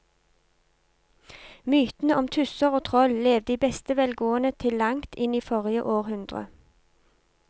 Mytene om tusser og troll levde i beste velgående til langt inn i forrige århundre.